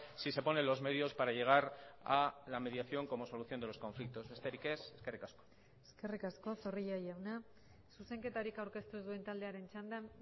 si se ponen los medios para llegar a la mediación como solución de los conflictos besterik ez eskerrik asko eskerrik asko zorrilla jauna zuzenketarik aurkeztu ez duen taldearen txanda